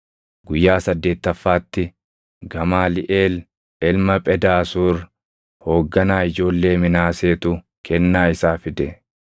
Guyyaa saddeettaffaatti Gamaaliʼeel ilma Phedaasuur hoogganaa ijoollee Minaaseetu kennaa isaa fide.